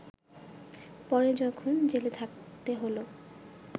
পরে যখন জেলে থাকতে হল